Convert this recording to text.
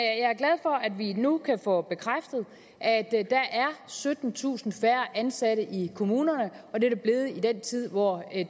vi nu kan få bekræftet at der er syttentusind færre ansatte i kommunerne og det er der blevet i den tid hvor